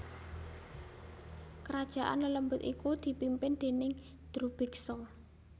Kerajaan lelembut iku dipimpin déning Drubiksa